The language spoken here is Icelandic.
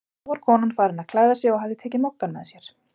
Þá var konan farin að klæða sig og hafði tekið Moggann með sér.